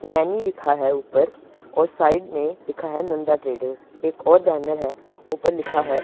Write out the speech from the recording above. मैंने लिखा है ऊपर और साइड में लिखा है नंदा ट्रेडर्स एक और बैनर है ऊपर लिखा है।